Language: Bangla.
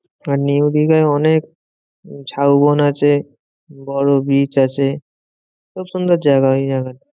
আর নিউ দিঘায় অনেক ঝাউবন আছে, বড় beach আছে, খুব সুন্দর জায়গা ওই জায়গাটা।